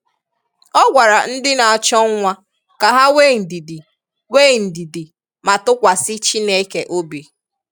Ọ gwara ndị na-achọ nwa ka ha nwee ndidi nwee ndidi ma tụkwasị Chineke obi